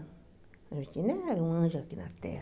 A Juventina era um anjo aqui na Terra.